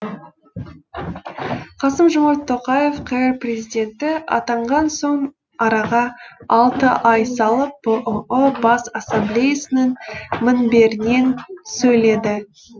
қасым жомарт тоқаев қр президенті атанған соң араға алты ай салып бұұ бас ассамблеясының мінберінен сөйледі